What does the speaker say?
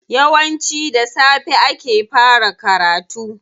Yawanci da safe ake fara karatu.